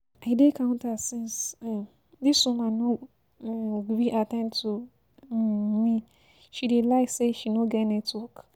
I dey counter since, um this woman no um gree at ten d to um me, she dey lie say she no get network